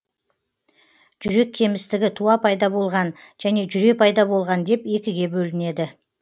жүрек кемістігі туа пайда болған және жүре пайда болған деп екіге бөлінеді